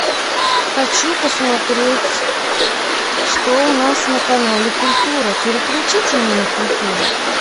хочу посмотреть что у нас на канале культура переключите мне на культуру